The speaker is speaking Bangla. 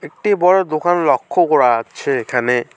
একটি বড় দোকান লক্ষ করা আচ্ছে এখানে।